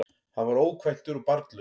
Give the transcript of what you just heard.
Hann var ókvæntur og barnlaus